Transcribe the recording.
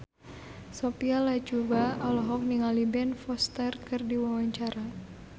Sophia Latjuba olohok ningali Ben Foster keur diwawancara